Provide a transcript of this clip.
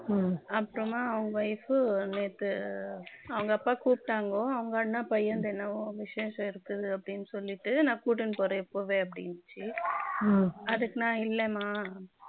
அப்புறமா அவங்க wife நேத்து அவங்க அப்பா கூப்பிட்டாங்க பையனுக்கு என்னவோ விசேஷம் இருக்குதுண்டு நான் கூட்டிட்டு போறேன் இப்பவே அப்படின்னுச்சு அதுக்கு நான் இல்லம்மா